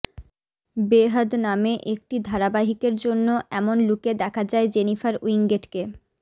বেহাদ নামে একটি ধারাবাহিকের জন্য এমন লুকে দেখা যায় জেনিফার উইঙ্গেটকে